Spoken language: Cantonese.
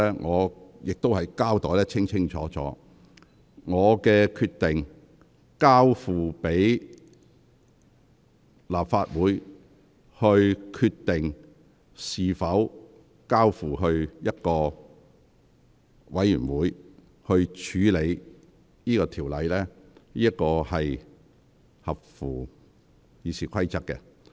我亦已清楚交代，我為何決定交由立法會決定是否將《條例草案》交付人力事務委員會處理，這做法符合《議事規則》。